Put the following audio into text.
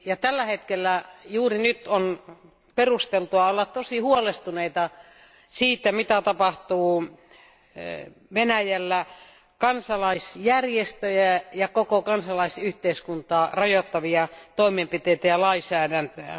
Tällä hetkellä juuri nyt on perusteltua olla todella huolestunut siitä, mitä tapahtuu Venäjällä kansalaisjärjestöjä ja koko kansalaisyhteiskuntaa rajoittavia toimenpiteitä ja lainsäädäntöä.